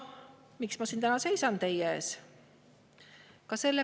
Miks ma siin täna teie ees seisan?